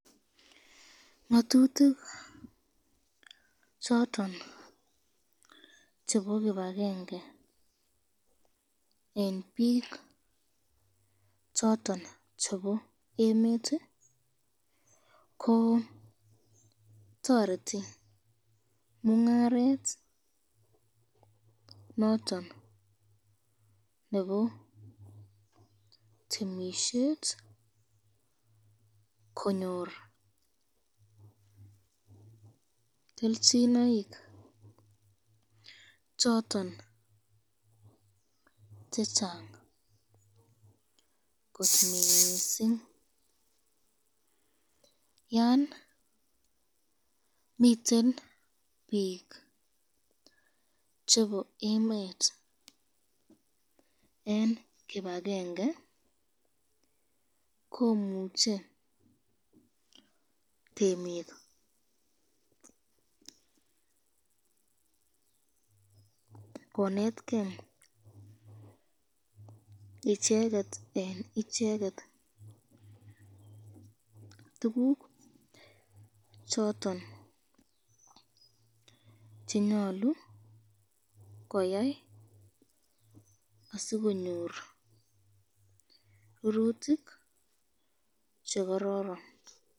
ngatitik choton chebo kibakenge eng bik choton chebo emet ko toretu mungaret noton nebo temisyet konyor kelchinoik choton chechang kot mising, yon miten bik chebo emet eng kibakenge komuche temik konetken icheket eng icheket choton chenyalu koyai asikonyor rurutik chekororon.